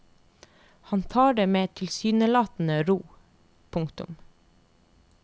Han tar det med tilsynelatende ro. punktum